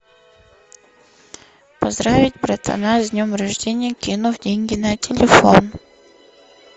поздравить братана с днем рождения кинув деньги на телефон